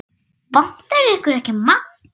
Vantar ykkur ekki maðk?